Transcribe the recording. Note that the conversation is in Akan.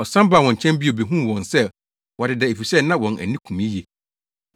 Ɔsan baa wɔn nkyɛn bio behuu wɔn sɛ wɔadeda efisɛ na wɔn ani kum yiye.